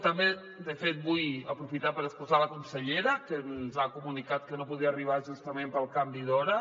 també de fet vull aprofitar per excusar la consellera que ens ha comunicat que no podia arribar justament pel canvi d’hora